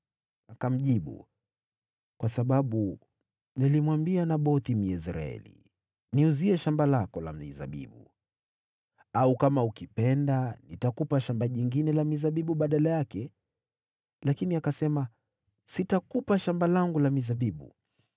Akamjibu, “Kwa sababu nilimwambia Nabothi, Myezreeli, ‘Niuzie shamba lako la mizabibu, au kama ukipenda, nitakupa shamba jingine la mizabibu badala yake.’ Lakini akasema, ‘Sitakupa shamba langu la mizabibu.’ ”